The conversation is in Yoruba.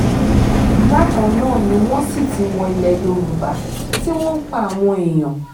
bákan náà ni wọ́n sì ti wọ ilẹ̀ yorùbá tí wọ́n ń pa àwọn èèyàn